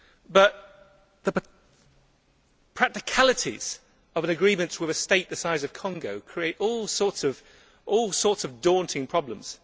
Yet the practicalities of an agreement with a state the size of Congo create all sorts of daunting problems.